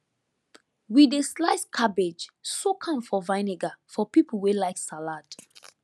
we dey slice cabbage soak am for vinegar for people wey like salad